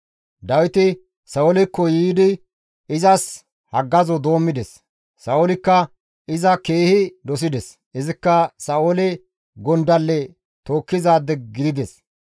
Dawiti Sa7oolekko yiidi izas haggazo doommides; Sa7oolikka iza keehi dosides; izikka Sa7oole gondalle tookkizaade gidides.